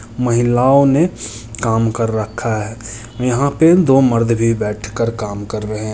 महिलाओं ने काम कर रखा हैं यहाँ पर दो मर्द भी बैठकर काम कर रहे हैं।